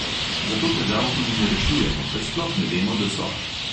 Zato težav tudi ne rešujemo, ker sploh ne vemo, da so.